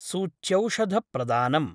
सूच्यौषधप्रदानम्